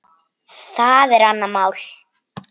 Það er annað mál.